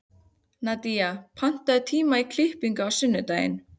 Nadía, pantaðu tíma í klippingu á sunnudaginn.